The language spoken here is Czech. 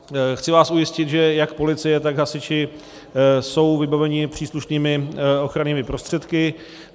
Chci vás ujistit, že jak policie, tak hasiči jsou vybavení příslušnými ochrannými prostředky.